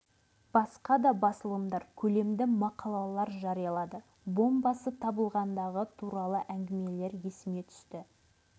басқа да басылымдар көлемді мақалалар жариялады бомбасы табылғандығы туралы әңгімелер есіме түсті